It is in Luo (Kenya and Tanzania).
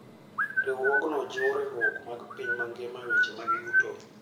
Riwruogno jiwo riwruok mar piny mangima e weche mag yuto.